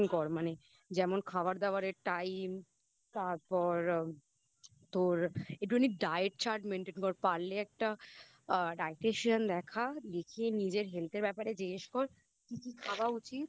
দেখিয়ে নিজের Health এর ব্যাপারে জিগেস কর কি কি খাওয়া উচিৎ মানে আমি Specially তোকে যেটা Suggest করবো সেটা হচ্ছে